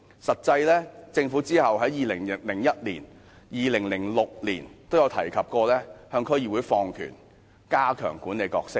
實際上，政府其後在2001年和2006年均提及向區議會放權，加強其管理角色。